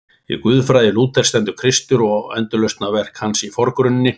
Í guðfræði Lúthers stendur Kristur og endurlausnarverk hans í forgrunni.